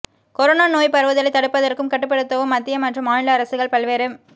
corona நோய் பரவுதலை தடுப்பதற்கும் கட்டுப்படுத்தவும் மத்திய மற்றும் மாநில அரசுகள் பல்வேறு